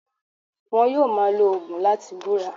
Won yóò máa lo ògùn láti búra